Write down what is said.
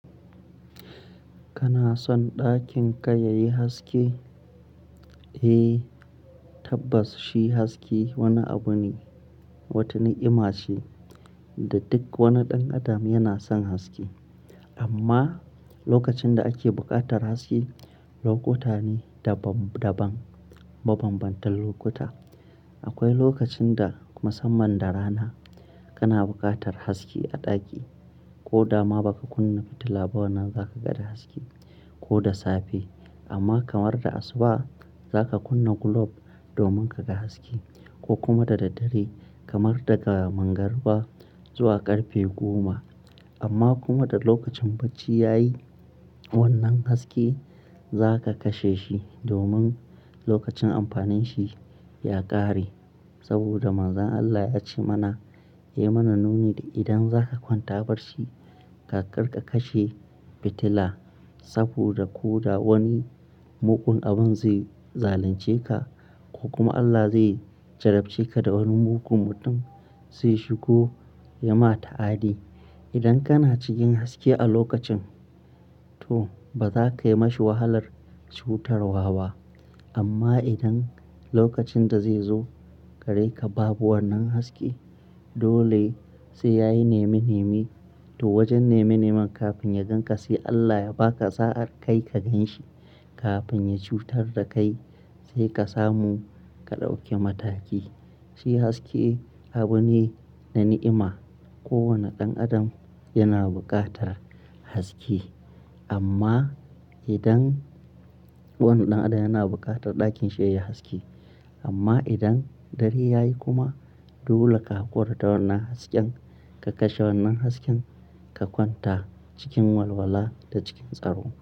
Kana son ɗakin ka yayi haske? Eh, tabbas shi haske wani abu ne, wata ni'ima ce da duk wani ɗan adam yana son haske. Amma lokacin da ake buƙatar haske, lokuta ne daban-daban, mabanbantan lokuta. Akwai lokacin da musamman da rana kana buƙatar haske a ɗaki ko dama ba ka kunna fitila ba wannan za ka ga haske ko da safe. Amma kamar da asuba za ka kunna globe domin ka ga haske ko kuma da daddare kamar daga mangarba zuwa ƙarfe goma. Amma kuma da lokacin bacci ya yi wannan haske za ka kashe shi domin lokacin amfanin shi ya ƙare. Amma kamar da asuba za ka kunna globe domin ka ga haske ko kuma da daddare kamar daga mangarba zuwa ƙarfe goma. Saboda ko da wani mugun abun zai zalunce ka ko kuma Allah zai jarabce ka da wani mugun mutum zai shigo ya ma ta'adi. Idan kana cikin haske a lokacin to ba za ka yi ma shi wahalar cutarwa ba. Amma idan lokacin da zai zo ga reka babu wannan haske dole sai ya yi nemi nemi. To wajen nemi neman kafin ya gan ka sai Allah ya ba ka sa'a kai ka gan shi kafin ya cutar da kai sai ka samu ka ɗauke mataki. Shi haske abu ne na ni'ima. Kowane ɗan adam yana buƙatar haske amma idan wani ɗan adam yana buƙatar ɗakin shi yayi haske amma idan dare ya yi kuma dole ka hakura da wannan hasken, ka kashe wannan hasken ka kwanta cikin walwala da cikin tsaro.